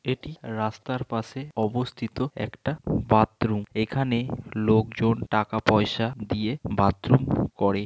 এটি রাস্তার পাশে অবস্থিত একটা বাথরুম । এখানে লোকজন টাকা পয়সা দিয়ে বাথরুম কড়ে।